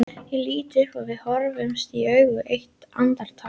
Ég lít upp og við horfumst í augu eitt andartak.